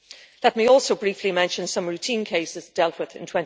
Let me also briefly mention some routine cases dealt with in